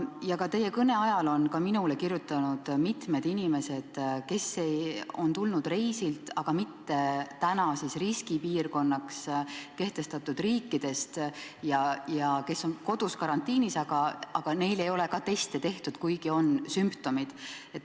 Ka teie kõne ajal on mulle kirjutanud mitmed inimesed, kes on tulnud reisilt, aga mitte riskipiirkonnaks nimetatud riikidest, ja kes on kodus karantiinis, aga ka neile ei ole teste tehtud, kuigi neil on sümptomid.